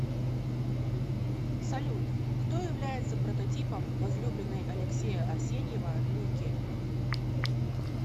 салют кто является прототипом возлюбленной алексея арсеньева лики